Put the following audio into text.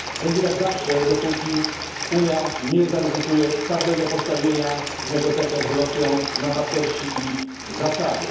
Będzie tak zawsze, dopóki Unia nie zaryzykuje twardego postawienia w negocjacjach z Rosją na wartości i zasady.